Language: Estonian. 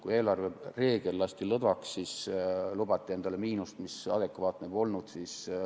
Kui eelarvereegel lasti lõdvaks, siis lubati endale miinust, mis ei olnud adekvaatne.